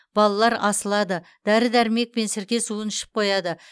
балалар асылады дәрі дәрмек және сірке суын ішіп қояды